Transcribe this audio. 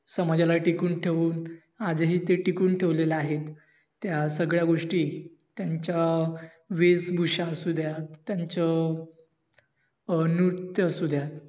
समाजाला टिकून ठेवून आजही ते टिकून ठेवलेले आहेत. त्या सगळ्या गोष्टी त्यांच्या वेशभूषा असुद्या, त्यांचं अं नृत्य असुद्या,